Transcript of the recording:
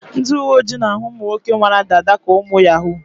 Ndị uwe ojii na-ahụ ụmụ nwoke nwere dada ka ụmụ yahoo.